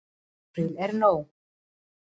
Til er nóg.